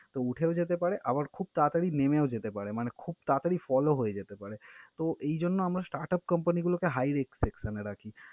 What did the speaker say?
তো উঠেও যেতে পারে আবার খুব তাড়াতাড়ি নেমেও যেতে পারে মানে খুব তাড়াতাড়ি fall ও হয়ে যেতে পারে। তো, এই জন্য আমরা startup company গুলোকে high risk section এ রাখি।